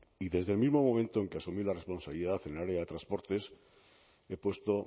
y desde el mismo momento en que asumí la responsabilidad en el área de transportes he puesto